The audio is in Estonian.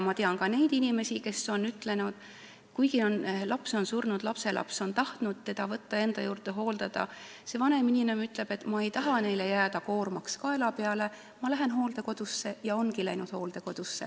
Ma tean ka inimesi, kellel laps on surnud ja keda lapselaps on tahtnud võtta enda juurde, aga kes on öelnud, et ta ei taha jääda lapselapsele koormaks kaela peale ja ta läheb hooldekodusse, ning ongi läinud.